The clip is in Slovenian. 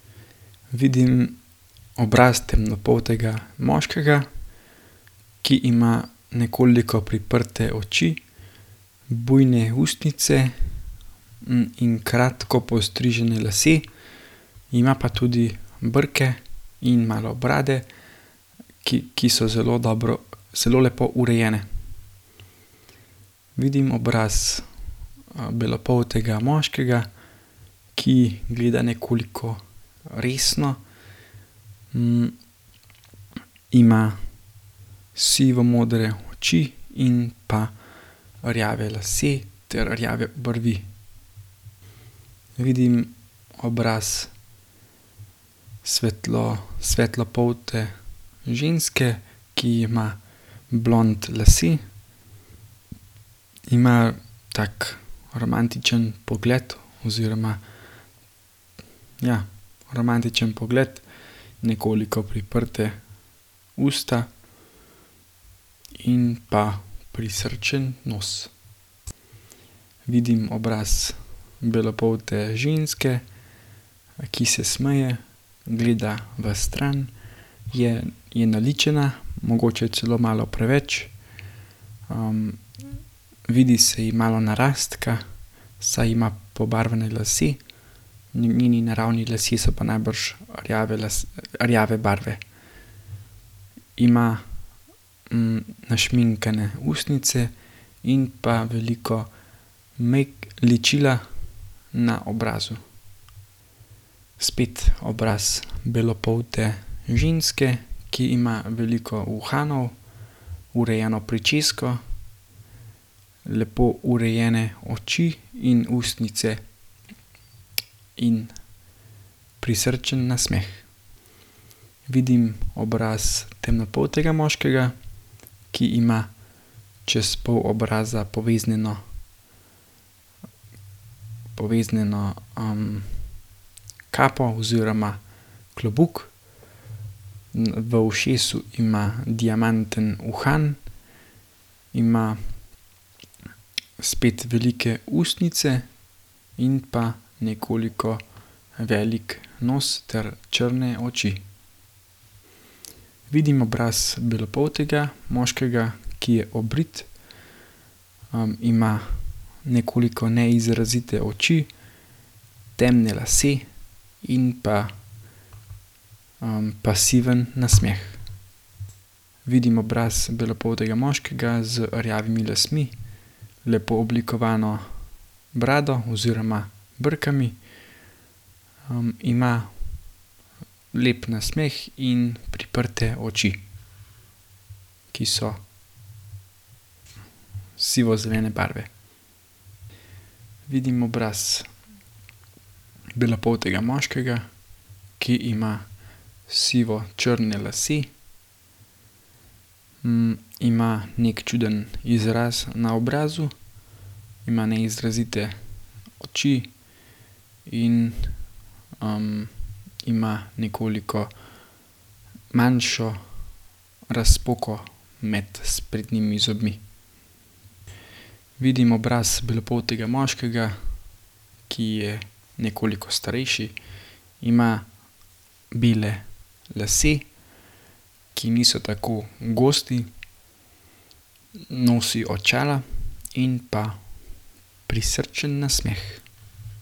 Vidim obraz temnopoltega moškega, ki ima nekoliko priprte oči, bujne ustnice, in kratko postrižene lase. Ima pa tudi brke in malo brade, ki, ki so zelo dobro, zelo lepo urejene. Vidim obraz, belopoltega moškega, ki gleda nekoliko, resno, ima sivomodre oči in pa rjave lase ter rjave obrvi. Vidim obraz svetlopolte ženske, ki ima blond lase, ima tak romantičen pogled oziroma ja, romantičen pogled, nekoliko priprte usta in pa prisrčen nos. Vidim obraz belopolte ženske, ki se smeje, gleda vstran. Je, je naličena, mogoče celo malo preveč, vidi se ji malo narastka, saj ima pobarvane lase. njeni naravni lasje so pa najbrž rjave rjave barve. Ima, našminkane ustnice in pa veliko ličila na obrazu. Spet obraz belopolte ženske, ki ima veliko uhanov, urejeno pričesko, lepo urejene oči in ustnice in prisrčen nasmeh. Vidim obraz temnopoltega moškega, ki ima čez pol obraza poveznjeno, poveznjeno, kapo oziroma klobuk. v ušesu ima diamanten uhan, ima spet velike ustnice in pa nekoliko velik nos ter črne oči. Vidim obraz belopoltega moškega, ki je obrit, ima nekoliko neizrazite oči, temne lase in pa, pasiven nasmeh. Vidim obraz belopoltega moškega z rjavimi lasmi, lepo oblikovano brado oziroma brki. ima lep nasmeh in priprte oči, ki so sivozelene barve. Vidim obraz belopoltega moškega, ki ima sivočrne lase. ima neki čuden izraz na obrazu, ima neizrazite oči in, ima nekoliko manjšo razpoko med sprednjimi zobmi. Vidim obraz belopoltega moškega, ki je nekoliko starejši, ima bele lase, ki niso tako gosti. Nosi očala in pa prisrčen nasmeh.